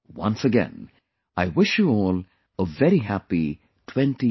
Once again, I wish you all a very happy 2024